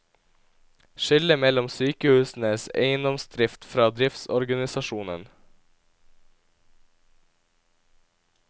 Skille mellom sykehusenes eiendomsdrift fra driftsorganisasjonen.